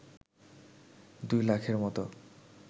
দুই লাখের মতো